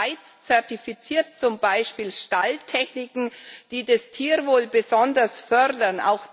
Die Schweiz zertifiziert zum Beispiel Stalltechniken, die das Tierwohl besonders fördern.